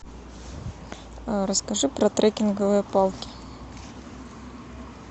расскажи про трекинговые палки